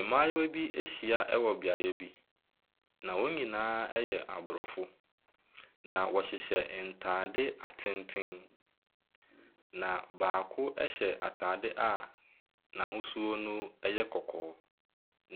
Mmayewa bi ahyia wɔ beaeɛ bi, na wɔn nyinaa yɛ aborɔfo, na wɔhyehyɛ ntade atenten, na baako hyɛ atade a n'ahosuo no yɛ kɔkɔɔ,